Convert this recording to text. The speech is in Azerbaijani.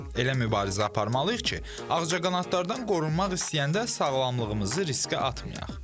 Elə mübarizə aparmalıyıq ki, ağcaqanadlardan qorunmaq istəyəndə sağlamlığımızı riskə atmayaq.